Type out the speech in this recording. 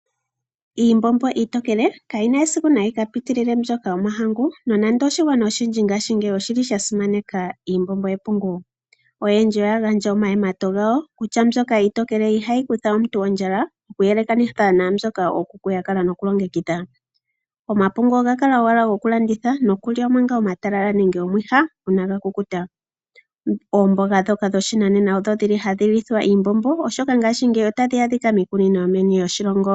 Iimbombo iitokele kayina esiku yika piitilile mbyoka yomahangu nonande oshigwana oshindji ngaashingeyi oshili sha simaneka iimbombo yepungu yo ohaya gandja omayemato gawo kutya iimbombo yepungu ohayi sitha omuntu ondjala oku yelekanitha naambyoka ookuku ya kala noku longekidha. Omapungu oha kala owala goku landitha, okulya manga omatalala omwiha inaaga kukuta. Oomboga ndhoka dho shinanena odho dhili hadhi lithwa iimbombo oshoka ngaashingeyi otadhi adhika miikunino yomeni lyoshilongo.